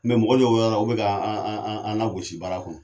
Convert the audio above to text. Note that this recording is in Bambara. mɔgɔ dɔw be yɔrɔla olu be k'an lagosi baara kɔnɔ.